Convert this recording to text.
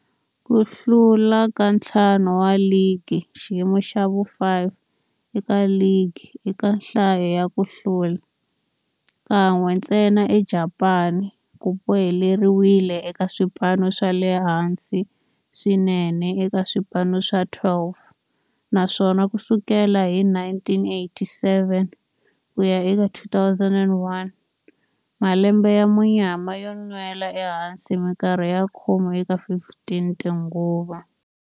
Ku hlula ka ntlhanu wa ligi, xiyimo xa vu-5 eka ligi eka nhlayo ya ku hlula, kan'we ntsena eJapani, ku boheleriwile eka swipano swa le hansi swinene eka swipano swa 12, naswona ku sukela hi 1987 ku ya eka 2001, malembe ya munyama yo nwela ehansi minkarhi ya khume eka 15 tinguva.